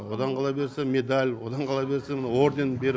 одан қала берсе медаль одан қала берсе мынау орден беріп